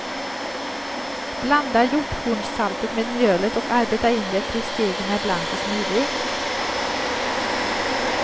Blanda hjorthornssaltet med mjölet och arbeta in det tills degen är blank och smidig.